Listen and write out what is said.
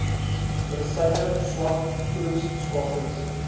medisyne swak voedingstatus